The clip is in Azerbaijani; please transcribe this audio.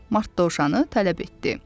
Mart dovşanı tələb etdi.